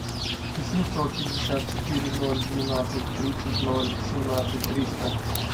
восемьсот пятьдесят четыре ноль двенадцать тридцать ноль семнадцать триста